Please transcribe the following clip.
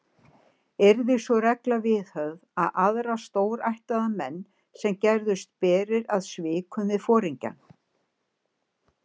Yrði sú regla viðhöfð við aðra stórættaða menn, sem gerðust berir að svikum við foringjann.